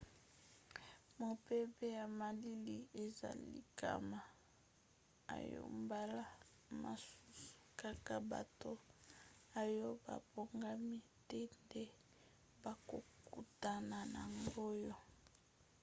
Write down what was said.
mopepe ya malili eza likama oyo mbala mosusu kaka bato oyo babongami te nde bakokutana na yango